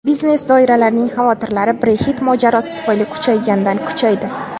Biznes doiralarining xavotirlari Brexit mojarosi tufayli kuchaygandan kuchaydi.